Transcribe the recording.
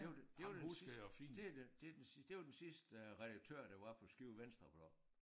Det var det var det det den det den det var den sidste redaktør der var på Skive Venstreblad